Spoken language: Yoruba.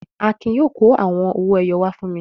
Akin yóò kó àwọn owó-ẹyọ wá fún mi.